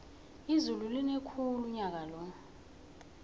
izulu line khulu unyakalo